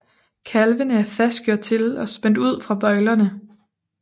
Kalvene er fastgjort til og spændt ud fra bøjlerne